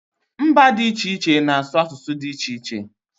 Mba dị iche iche na asụ asụsụ dị iche iche